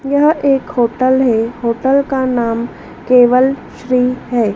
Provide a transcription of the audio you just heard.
यह एक होटल है होटल का नाम केवल श्री है।